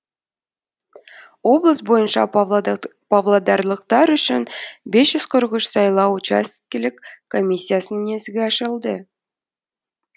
облыс бойынша павлодарлықтар үшін бес жүз қырық үш сайлау учаскелік комиссиясының есігі ашылды